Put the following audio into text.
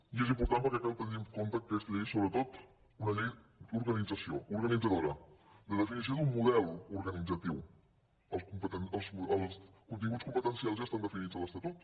i és important perquè cal tenir en compte que aquesta llei és sobretot una llei d’organització organitzadora de definició d’un model organitzatiu els continguts competencials ja estan definits a l’estatut